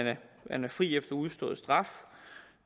man er fri efter udstået straf